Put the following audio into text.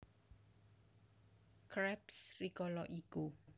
Krabs rikala iku